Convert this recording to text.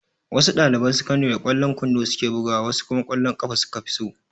Wasu ɗaliban sakandare ƙwallon kwando su ke bugawa wasu kuma ƙwallon ƙafa su ka fi so.